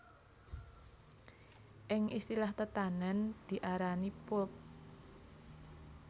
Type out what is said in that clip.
Ing istilah tetanèn diarani pulp